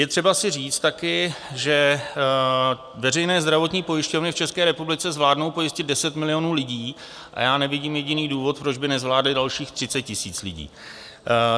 Je třeba si říct taky, že veřejné zdravotní pojišťovny v České republice zvládnou pojistit 10 milionů lidí a já nevidím jediný důvod, proč by nezvládly dalších 30 000 lidí.